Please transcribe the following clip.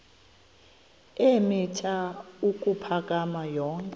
eemitha ukuphakama yonke